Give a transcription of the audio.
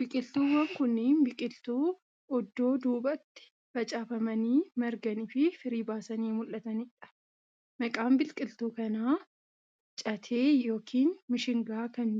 Biqiltuuwwan kunneen, biqiltuu oddoo duubatti facaafamanii, marganii fi firii baasanii mul'atanii dha. Maqaan biqiltuu kanaa catee yokin mishingaa kan